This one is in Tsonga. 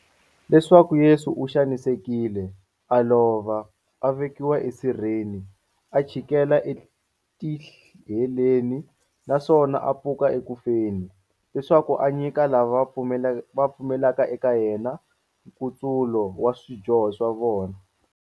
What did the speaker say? Leswaku Yesu u xanisekile, a lova, a vekiwa esirheni, a chikela etiheleni, naswona a pfuka eku feni, leswaku a nyika lava pfumelaka eka yena, nkutsulo wa swidyoho swa vona.